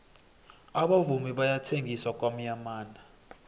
abavumi bayathengisa kwamyamana